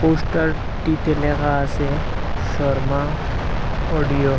পোস্টারটিতে লেখা আসে শর্মা অডিও ।